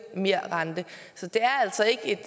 merrente så det er altså ikke